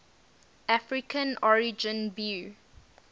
african origin view